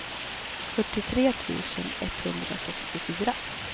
fyrtiotre tusen etthundrasextiofyra